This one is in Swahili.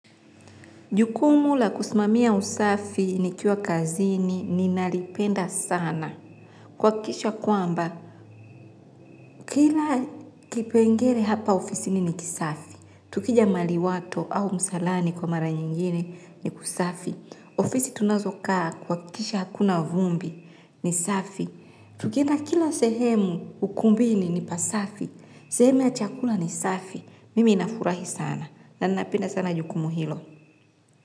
Jukumu la kusimamia usafi nikiwa kazini ninalipenda sana. Kuhakikisha kwamba, kila kipengele hapa ofisini ni kisafi. Tukija maliwato au msalani kwa mara nyingine ni kusafi. Ofisi tunazo kaa kuhakikisha hakuna vumbi ni safi. Tukienda kila sehemu ukumbini ni pasafi. Sehemu ya chakula ni safi. Mimi nafurahi sana. Na ninapenda sana jukumu hilo.